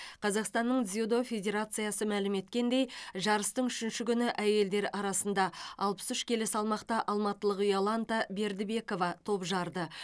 қазақстанның дзюдо федерациясы мәлім еткендей жарыстың үшінші күні әйелдер арасында алпыс үш келі салмақта алматылық иоланта бердібекова топ жарды